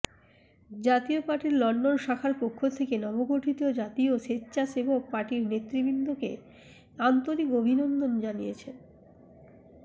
জাতীয় party London শাখার পক্ষ থেকে নব গঠিত জাতীয় সেচ্চাসেবক পার্টির নেতৃৃবৃন্দকে আন্তরিক অভিনন্দন জানিয়েছেন